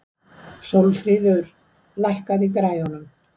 Sólfríður, lækkaðu í græjunum.